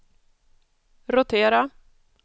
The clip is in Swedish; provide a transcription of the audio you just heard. rotera